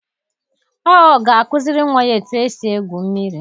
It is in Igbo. Ọ ga-akuziri nwa ya etu esi egwu mmiri.